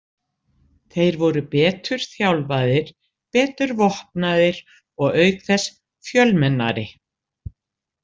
Þeir voru betur þjálfaðir, betur vopnaðir og auk þess fjölmennari.